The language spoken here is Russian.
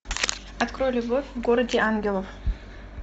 открой любовь в городе ангелов